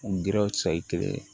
N gɛrɛw sayi kelen